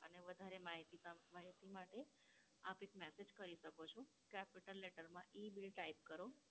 અને વધારે માહિતી ત, માહિતી માટે આપ એક message કરી શકો છો. Capital letter માં EBILL type કરો.